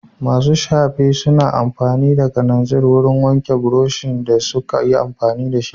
Masu shafe suna amfani da kananzir wurin wanke burushin da suka yi fenti da shi.